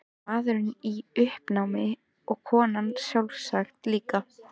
Maðurinn í uppnámi og konan sjálfsagt líka.